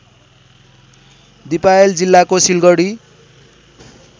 दिपायल जिल्लाको सिलगडी